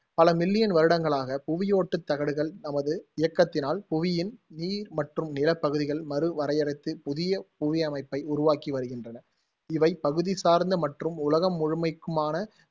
பல million வருடங்களாக, புவியோட்டுத் தகடுகள் தமது இயக்கத்தினால், புவியின் நீர் மற்றும் நிலப் பகுதிகள் மறு வரையறுத்துப் புதிய புவியமைப்பை உருவாக்கி வருகின்றன. இவை, பகுதி சார்ந்த மற்றும் உலகம் முழுமைக்குமான